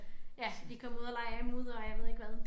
Ja de kommer ud og leger i mudder og jeg ved ikke hvad